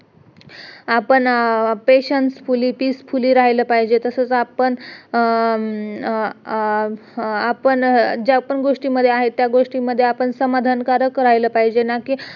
आपण patieancefully peacefully राहील पाहिजे तसेच आपण आह अं आपण ज्या पण गोष्टीमध्ये आहे त्या गोष्टीमध्ये आपण समाधानकारक राहील पाहिजे ना कि